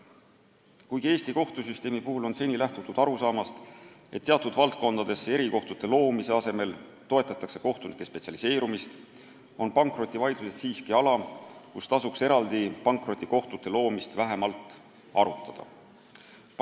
Kuigi Eesti kohtusüsteemi puhul on seni lähtutud arusaamast, et teatud valdkondadesse erikohtute loomise asemel toetatakse kohtunike spetsialiseerumist, on pankrotivaidlused siiski nii olulised, et tasuks eraldi pankrotikohtute loomist vähemalt arutada.